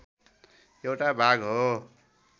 एउटा भाग हो